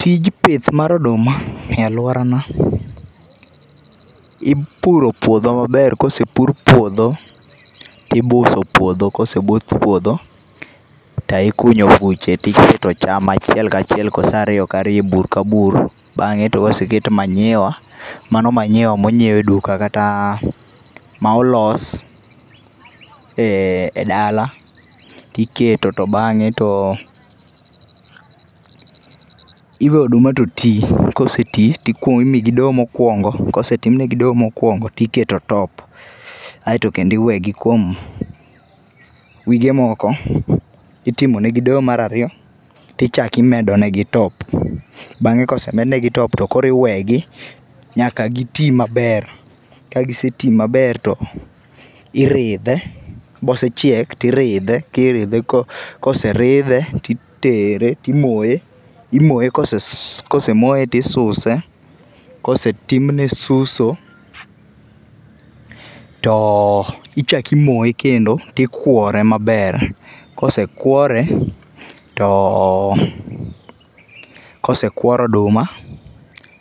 Tij pith mar oduma e aluorana, ipuro puodho maber kosepur puodho, tibuso puodho. Kosebus puodho, to ikunyo buche tiketo cham achiel kachiel kose ariyo ka riyo e bur ka bur, bang'e to koseket manyiwa mano manyiwa ma onyiew eduka kata ma olos edala tiketo to bang'e to iweyo oduma to tii. Kosetii timiyogi doyo mokuongo. Kosetim nigi doyo mokuongo to iketo top aeto kendo iwegi kuom wige moko. Itimo negi doyo mar ariyo to ichako imedo negi top. Bang'e kosemed negi top to koro iwegi, nyaka giti maber. Ka giseti maber to iridhe, kose chiek to iridhe, tiridhe koseridhe titere timoye. Kosemoye to isuse, kosetimne suso to ichak imoye kendo to ikuore maber. Kosekuore to kosekuor oduma,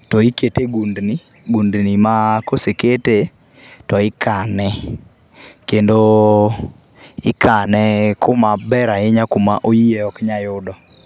to ikete e gundni, gundni ma kosekete to ikane kendo ikane kuma ber ahinya kuma oyieyo ok nyal yudo.